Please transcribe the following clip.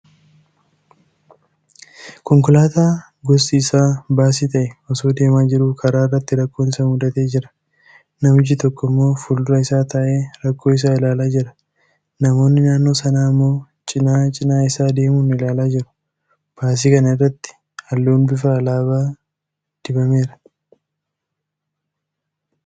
Konkolaataa gosti isaa baasii ta'e osoo deemaa jiruu karaarratti rakkoon isa muudatee jira. Namichi tokko immoo fuuldura isaa taa'ee rakkoo isaa ilaalaa jira. Namoonni naannoo sanaa ammoo cina, cinaa isaa deemuun ilaalaa jiru. Baasii kana irratti halluun bifa alaabaa dibameera.